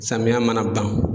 Samiya mana ban.